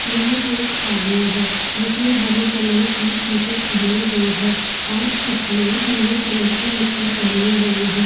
यह एक आदमी है जिस ने हरे कलर की टी. शर्ट पहनें हुई है और इसने नीले कलर की निकर पहनी हुई है।